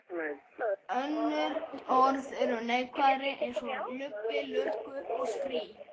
Önnur orð eru neikvæðari eins og lubbi, lurgur og strý.